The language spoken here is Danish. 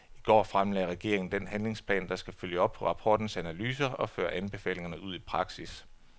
I går fremlagde regeringen den handlingsplan, der skal følge op på rapportens analyser og føre anbefalingerne ud i praksis.